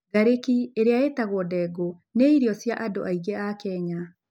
Ngarĩki, ĩrĩa ĩĩtagwo dengu, nĩ irio cia andũ aingĩ a Kenya.